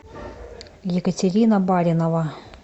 екатерина баринова